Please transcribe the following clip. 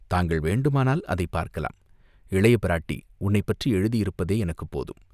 தாங்கள் வேண்டுமானால் அதைப் பார்க்கலாம்." இளைய பிராட்டி உன்னைப் பற்றி எழுதியிருப்பதே எனக்குப் போதும்.